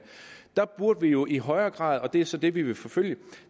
der burde vi jo i højere grad og det er så det vi vil forfølge